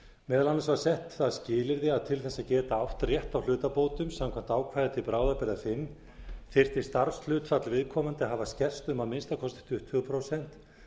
meðal annars var sett það skilyrði að til þess að geta átt rétt á hlutabótum samkvæmt ákvæði til bráðabirgða fimm þyrfti starfshlutfall viðkomandi að hafa skerst um að minnsta kosti tuttugu prósent